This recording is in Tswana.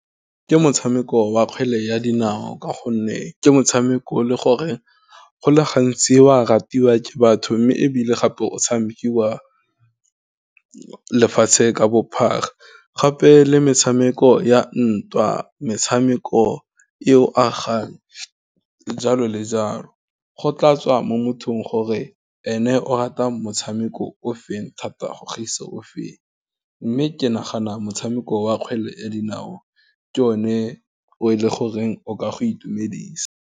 Ke motshameko wa kgwele ya dinao, ka gonne ke motshameko o e leng gore go le gantsi wa ratiwa ke batho, mme ebile gape o tshamekiwa lefatshe ka bophara, gape le metshameko ya ntwa, metshameko e o agang, ka jalo le jalo go tla tswa mo mothong gore ene o rata motshameko o feng thata go gaisa o feng. Mme ke nagana motshameko wa kgwele ya dinao, ke o ne, o e leng goreng o ka go itumedisa.